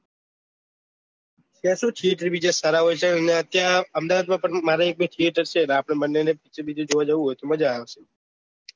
અહેમદાબાદ માં મારા એક બે thiyeter છે આપડે બંને picture જોવા જવું હોય તો મજા આવે